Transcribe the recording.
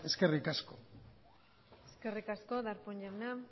eskerrik asko eskerrik asko darpón jauna